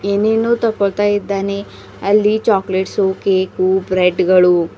ಏನೇನೋ ತಗೋಳ್ತಾ ಇದ್ದಾನೆ ಅಲ್ಲಿ ಚಾಕ್ಲೇಟ್ಸು ಕೇಕು ಬ್ರೆಡ್ ಗಳು --